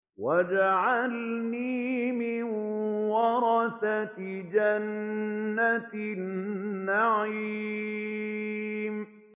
وَاجْعَلْنِي مِن وَرَثَةِ جَنَّةِ النَّعِيمِ